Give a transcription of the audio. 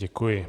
Děkuji.